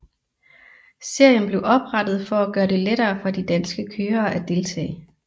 Serien blev oprettet for at gøre det lettere for de danske kørere at deltage